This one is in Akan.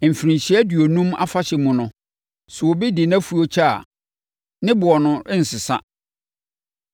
Mfirinhyia Aduonum Afahyɛ mu no, sɛ obi de nʼafuo kyɛ a, ne boɔ no rensesa.